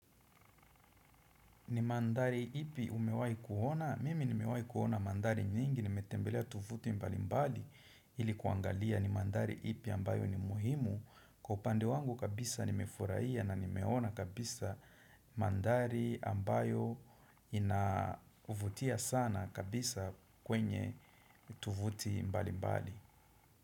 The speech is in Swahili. Ni mandhari ipi umewahi kuona? Mimi nimewahi kuona mandhari mingi, nimetembelea tovuti mbali mbali ili kuangalia ni mandhari ipi ambayo ni muhimu. Kwa upande wangu kabisa nimefurahia na nimeona kabisa mandhari ambayo inavutia sana kabisa kwenye tuvuti mbali mbali.